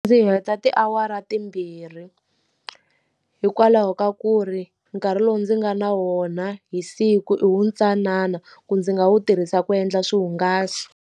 Ndzi heta tiawara timbirhi. Hikwalaho ka ku ri nkarhi lowu ndzi nga na wona hi siku i wu ntsanana, ku ndzi nga wu tirhisa ku endla swihungaso.